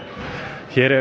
hér er